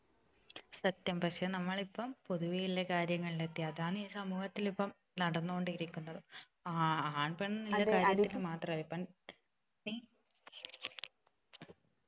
സത്യം പക്ഷെ നമ്മൾ ഇപ്പം പൊതുവെ ഉള്ള കാര്യങ്ങളിൽ എത്തി അതാണ് ഈ സമൂഹത്തിൽ ഇപ്പൊ നടന്നോണ്ടിരിക്കുന്നത് ആഹ് ആൺ പെൺ ഇല്ല കാര്യത്തിൽ മാത്രല്ല ഇപ്പം നീ